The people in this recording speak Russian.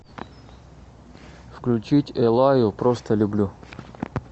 включить эллаю просто люблю